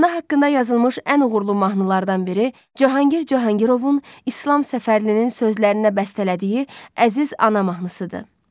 Ana haqqında yazılmış ən uğurlu mahnılardan biri Cahangir Cahangirovun İslam Səfərlinin sözlərinə bəstələdiyi Əziz ana mahnısıdır.